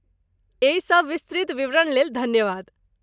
एहि सब विस्तृत विवरणलेल धन्यवाद।